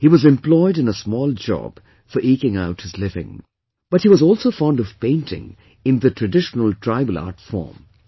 He was employed in a small job for eking out his living, but he was also fond of painting in the traditional tribal art form